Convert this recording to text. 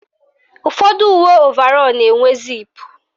Ụfọdụ uwe ovarọ na-enwe ziipu